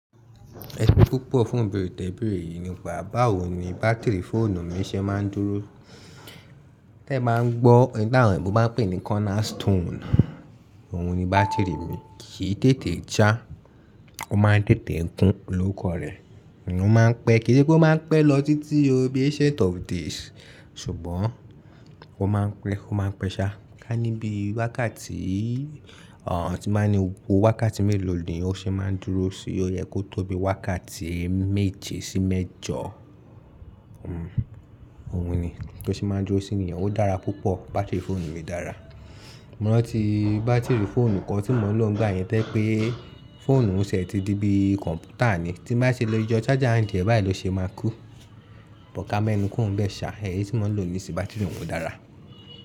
Ẹ̀ṣọ́ púpọ̀ fún íbeeré tẹ́bèèré yìí nipá bàwo ni bátìrì fóònù mi ṣé máa ń dúró. Tẹ́ ẹ bá ń gbọ́, ẹni táwon òyìnbó máa n pè ní cornerstone, òun ni bátìrì mi. Kì í tètè já, ó máa ń tètè kún loóko rẹ̀, òun máa ń pẹ́. Kì í ṣe pé ó máa ń pẹ́ lọ títí ó bí ancient of days, ṣùgbọ́n ó máa ń pẹ́, ó máa ń pẹ̀ ṣa. Ká ní bí wákàtí, àǹ, tí n bá ní gbogbo wákàtí mélòó ni ó ṣe máa ń dúró sí i, ó yẹ kó tó bí wákàtí méje sí mẹ́jọ. Hmm, òun ni. Tó ṣe máa ń dúró sí níyen, ó dára púpọ̀. Bátìrì fóònù mi dára. Mo rántí bátìrì fóònù kan tí mo ń lò nígbà yẹn to je pé fóònù ti ẹ ti di bí kọ̀ǹpútà ni. Tí bá ṣe le yo charger ǹ díẹ̀ báyìí ló ṣe máa kú. But kámẹ́nu kurò ń bẹ̀ ṣa, ẹyí tí mo ń lò nísìí bátìrì òun o dára.